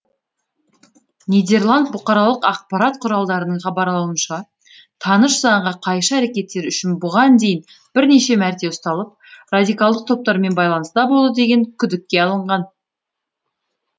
нидерланд бұқаралық ақпарат құралдарының хабарлауынша таныш заңға қайшы әрекеттері үшін бұған дейін бірнеше мәрте ұсталып радикалдық топтармен байланыста болды деген күдікке алынған